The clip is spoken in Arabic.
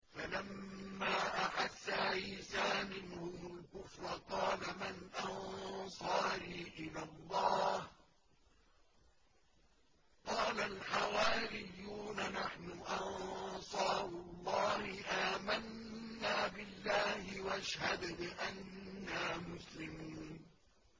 ۞ فَلَمَّا أَحَسَّ عِيسَىٰ مِنْهُمُ الْكُفْرَ قَالَ مَنْ أَنصَارِي إِلَى اللَّهِ ۖ قَالَ الْحَوَارِيُّونَ نَحْنُ أَنصَارُ اللَّهِ آمَنَّا بِاللَّهِ وَاشْهَدْ بِأَنَّا مُسْلِمُونَ